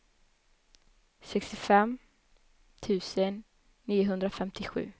sextiofem tusen niohundrafemtiosju